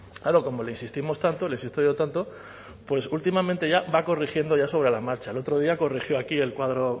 claro como le insistimos tanto le insisto yo tanto pues últimamente ya corrigiendo ya sobre la marcha el otro día corrigió aquí el cuadro